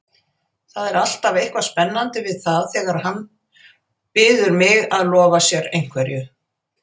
Það er alltaf eitthvað spennandi við það þegar hann biður mig að lofa sér einhverju.